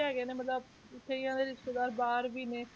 ਹੈਗੇ ਨੇ ਮਤਲਬ ਕਈਆਂ ਦੇ ਰਿਸ਼ਤੇਦਾਰ ਬਾਹਰ ਵੀ ਨੇ,